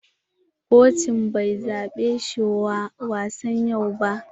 Kocin bai zaɓe shi wa wasan yau ba.